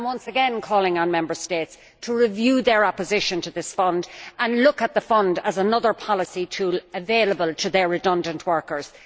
I am once again calling on Member States to review their opposition to this Fund and look at it as another policy tool available to their redundant workers.